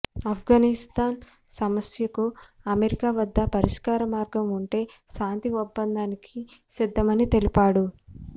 అఫ్గానిస్థాన్ సమస్యకు అమెరికా వద్ద పరిష్కార మార్గం ఉంటే శాంతి ఒప్పందానికి సిద్ధమని తెలిపాడు